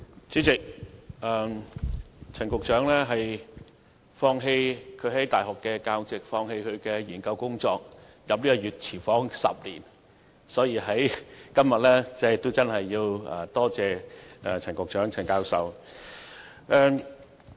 主席，陳局長當年放棄其大學教席及研究工作，進入這個"熱廚房 "10 年之久，所以今天真的要多謝陳教授。